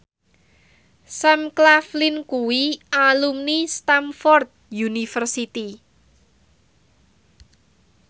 Sam Claflin kuwi alumni Stamford University